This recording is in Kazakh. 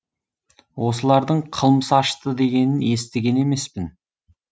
осылардың қылмыс ашты дегенін естіген емеспін